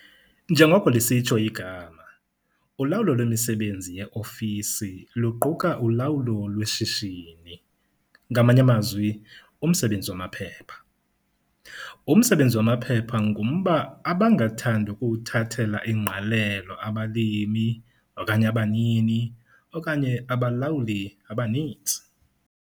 NJENGOKO LISITSHO IGAMA, ULAWULO LWEMISEBENZI YEOFISI LUQUKA ULAWULO LWESHISHINI, NGAMANYE AMAZWI, UMSEBENZI WAMAPHEPHA. UMSEBENZI WAMAPHEPHA NGUMBA ABANGATHANDI UKUWUTHATHELA INGQALELO ABALIMI OKANYE ABANINI OKANYE ABALAWULI ABANINTSI.